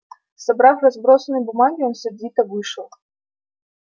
собрав разбросанные бумаги он сердито вышел